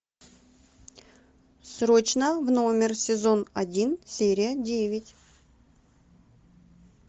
срочно в номер сезон один серия девять